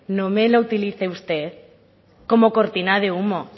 no me lo utilice usted como cortina de humo